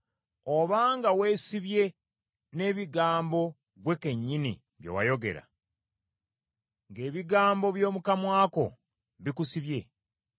Obanga weesibye n’ebigambo ggwe kennyini bye wayogera, ng’ebigambo by’omu kamwa ko bikusibye,